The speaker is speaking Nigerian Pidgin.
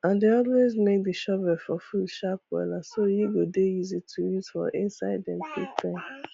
i dey always make the shovel for food sharp wella so e go dey easy to use for inside dem pig pen